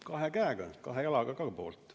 " Kahe käe ja kahe jalaga poolt.